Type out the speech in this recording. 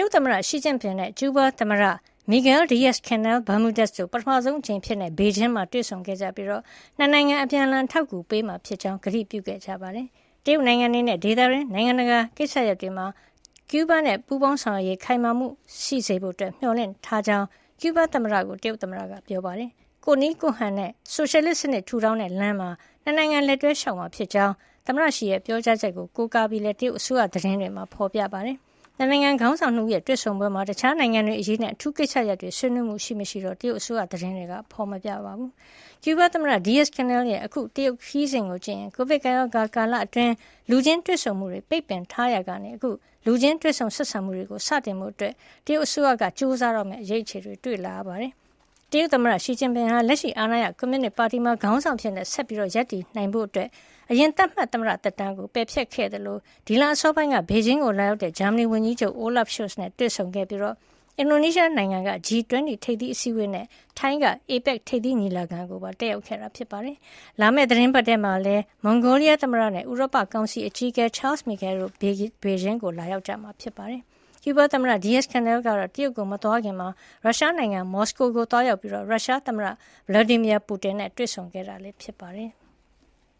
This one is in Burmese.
ရုတ် သမ္မတ ရှီကျင့်ပင် နဲ့ ကျူးဘား သမ္မတ မိဂဲလ် ဒီရက်ဇ် ကနဲလ် Miguel Diaz-Canel Bermudez တို့ ပထမဆုံးအကြိမ်အဖြစ် ဘေဂျင်းမှာ တွေ့ဆုံခဲ့ကြပြီး ၂ နိုင်ငံ အပြန်အလှန် အထောက်အကူပေးမှာ ဖြစ်ကြောင်း ကတိပြုခဲ့ကြပါတယ်။ တရုတ်နိုင်ငံ အနေနဲ့ ဒေသတွင်းနဲ့ နိုင်ငံတကာကိစ္စရပ်တွေမှာ ကျူးဘားနဲ့ ပူးပေါင်းဆောင်ရွက်ရေး ခိုင်မာစေဖို့ မျှော်လင့်ထားကြောင်း ကျူးဘားသမ္မတကို တရုတ်သမ္မတ က ပြောပါတယ်။ ကိုယ့်နည်းကိုယ့်ဟန်နဲ့ ဆိုရှယ်လစ်စံနစ် ထူထောင်တဲ့လမ်းမှာ ၂ နိုင်ငံ လက်တွဲလျှောက်လှမ်းမှာ ဖြစ်ကြောင်း သမ္မတရှီရဲ့ ပြောကြားချက်ကို ကိုးကားပြီးလည်း တရုတ်အစိုးရသတင်းတွေမှာ ဖေါ်ပြပါတယ်။ ၂ နိုင်ငံ ခေါင်းဆောင် ၂ ဦးရဲ့ တွေ့ဆုံပွဲမှာ တခြားနိုင်ငံတွေအရေးနဲ့ အထူးကိစ္စရပ်တွေ ဆွေးနွေးမှု ရှိမရှိ တရုတ်အစိုးရ သတင်းတွေမှာ မဖေါ်ပြကြပါဘူး။ ကျူးဘားသမ္မတ Diaz-Canel ရဲ့ အခု တရုတ်ခရီးစဉ်ကိုကြည့်ရင် ကိုဗစ်ကပ်ရောဂါကာလအတွင်း လူချင်းတွေ့ဆုံမှုတွေ ပိတ်ပင်ထားရာကနေ အခု လူချင်းတွေ့ဆုံ ဆက်ဆံမှုတွေကို စတင်ဖို့ တရုတ်အစိုးရက ကြိုးစားတော့မယ့် အရိပ်အခြေတွေ တွေ့လာရတာပါ။ တရုတ် သမ္မတ ရှီ ဟာ လက်ရှိအာဏာရ ကွန်မြူနစ်ပါတီမှာ ခေါင်းဆောင်အဖြစ် ဆက်လက်ရပ်နိုင်ဖို့ အရင်သတ်မှတ် သမ္မတ သက်တမ်းကို ပယ်ဖျက်ခဲ့သလို ဒီလ အစောပိုင်းမှာ ဘေဂျင်းကို လာရောက်တဲ့ ဂျာမနီဝန်ကြီးချုပ် Olaf Scholz နဲ့ တွေ့ဆုံခဲ့ပြီး၊ အင်ဒိုနီးရှားက G 20 ထိပ်သီးအစည်းဝေးနဲ့ ထိုင်းက APEC ထိပ်သီးညီလာခံကိုပါ တက်ရောက်ခဲ့တာ ဖြစ်ပါတယ်။ လာမယ့် သီတင်းပတ်ထဲမှာလည်း မွန်ဂိုလီယား သမ္မတ Ukhnaagiin Khurelsukh နဲ့ ဥရောပကောင်စီ အကြီးအကဲ Charles Michel တို့ ဘေဂျင်းကို လာရောက်မှာလည်း ဖြစ်ပါတယ်။ ကျူးဘားသမ္မတ Diaz-Canel ကတော့ တရုတ်ကို မသွားခင် ရုရှားနိုင်ငံ မော်စကိုကိုသွားရောက်ပြီး ရုရှားသမ္မတ Vladimir Putin နဲ့ တွေ့ဆုံခဲ့တာ ဖြစ်ပါတယ်။